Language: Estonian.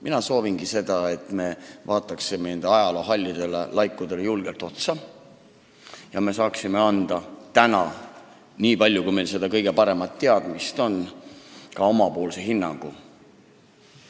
Mina soovingi seda, et me vaataksime ajaloo hallidele laikudele julgelt otsa ja annaksime täna, nii palju, kui meil seda kõige paremat teadmist on, ka omapoolse hinnangu.